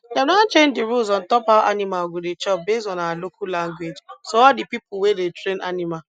dem don change di rules on top how animal go dey chop based on our local language so all di pipo wey dey train animal